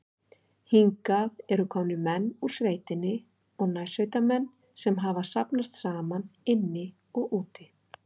Hingað eru komnir menn úr sveitinni og nærsveitamenn, sem hafa safnast saman inni og úti.